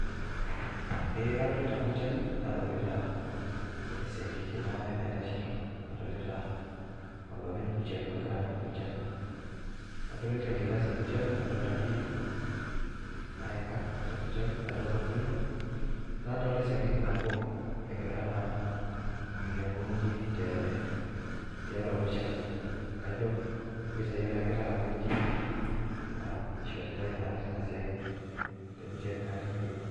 Ee kadolita burshery nadolita esiakikin aare naaitashito, nadolita olopeny burshery Ogira amirr burshery adolita enkilassi ee burshery nadolita igirri naika , nadolita orkilo, nadolita esiankiki nabo enagira naa ainyang'u igirri tee tiatua burshery kajo ipisai elakita araki igirri eishoritae naa Tina siaai te burshery naa tine wueji.